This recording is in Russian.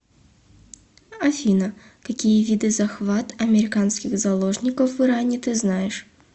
афина какие виды захват американских заложников в иране ты знаешь